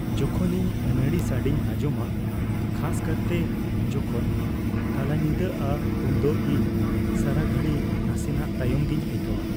ᱡᱚᱠᱷᱚᱱ ᱤᱧ ᱟᱹᱱᱟᱹᱲᱤ ᱥᱟᱰᱮᱧ ᱟᱸᱡᱚᱢᱟ, ᱠᱷᱟᱥ ᱠᱟᱨᱛᱮ ᱡᱚᱠᱷᱚᱱ ᱛᱟᱞᱟᱧᱤᱫᱟᱜᱼᱟ ᱩᱱᱫᱚ ᱤᱧ ᱥᱟᱲᱟᱜᱷᱟᱹᱲᱤ ᱱᱟᱥᱮᱱᱟᱜ ᱛᱟᱭᱚᱢ ᱜᱮᱧ ᱟᱹᱭᱠᱟᱹᱣᱟ ᱾